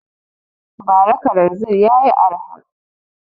Ba ra kalanzir yayi arha